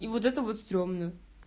и вот это вот страшно